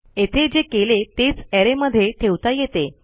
येथे जे केले तेच अरे मध्ये ठेवता येते